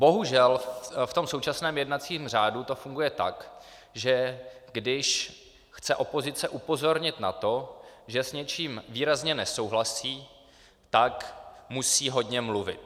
Bohužel v tom současném jednacím řádu to funguje tak, že když chce opozice upozornit na to, že s něčím výrazně nesouhlasí, tak musí hodně mluvit.